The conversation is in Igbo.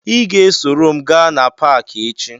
Ị ga-esoro m gaa na paakị echi